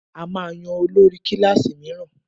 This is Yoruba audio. A máa yan olórí kílàsì míràn.